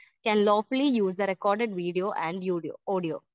Speaker 1 can lawfully use the record video and audio .